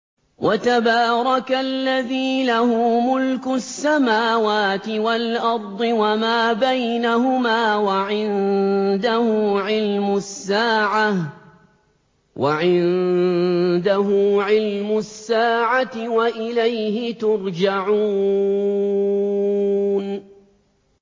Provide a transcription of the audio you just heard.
وَتَبَارَكَ الَّذِي لَهُ مُلْكُ السَّمَاوَاتِ وَالْأَرْضِ وَمَا بَيْنَهُمَا وَعِندَهُ عِلْمُ السَّاعَةِ وَإِلَيْهِ تُرْجَعُونَ